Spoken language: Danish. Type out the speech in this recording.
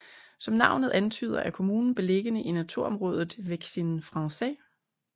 Som navnet antyder er kommunen beliggende i naturområdet Vexin Français